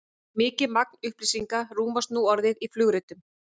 mikið magn upplýsinga rúmast nú orðið í flugritum